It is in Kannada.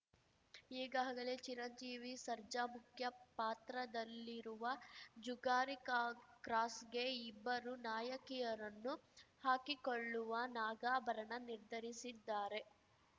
ಈಗಾಗಲೇ ಚಿರಂಜೀವಿ ಸರ್ಜಾ ಮುಖ್ಯಪಾತ್ರದಲ್ಲಿರುವ ಜುಗಾರಿಕಾಕ್ರಾಸ್‌ಗೆ ಇಬ್ಬರು ನಾಯಕಿಯರನ್ನು ಹಾಕಿಕೊಳ್ಳುವ ನಾಗಾಭರಣ ನಿರ್ಧರಿಸಿದ್ದಾರೆ